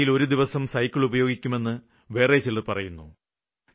ആഴ്ചയിലൊരു ദിവസം സൈക്കിള് ഉപയോഗിക്കുമെന്ന് വേറെ ചിലര് പറയുന്നു